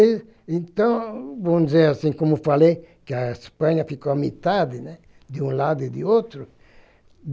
Então, vamos dizer assim, como falei, que a Espanha ficou à metade, né, de um lado e de outro.